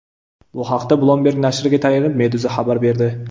Bu haqda Bloomberg nashriga tayanib, Meduza xabar berdi .